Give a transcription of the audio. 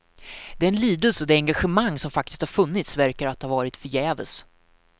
Den lidelse och det engagemang som faktiskt har funnits verkar att ha varit förgäves.